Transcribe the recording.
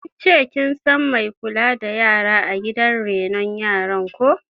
Kin ce kin san mai kula da yara a gidan renon yaran ko?